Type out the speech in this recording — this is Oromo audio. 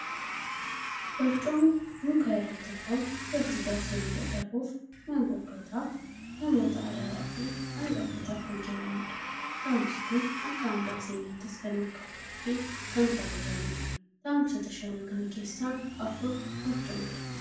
Barcumni muka irraa tolfamu duratti jaarsolii dadhaboof, maanguddootaaf, namoota araaraaf fi angafootaaf kan kennamudha. Taa'umsi kun akka hambaa seenaattis kan ol kaa'amuu fi kan kabajamudha. Taa'umsoota shanan kana keessaa afur barcumadha.